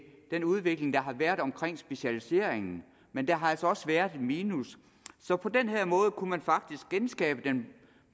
den udvikling der har været omkring specialiseringen men der har altså også været et minus så på den her måde kunne man faktisk genskabe den